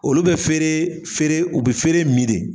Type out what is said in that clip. Olu bɛ feere feere u be feere min de.